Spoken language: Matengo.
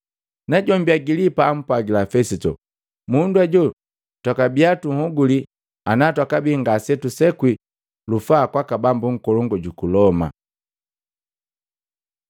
Najombi Agilipa ampwagila Fesito, “Mundu ajo twakabia tunhoguli ana jwakabii ngase jusekwi lufaa kwaka bambu nkolongu juku Loma.”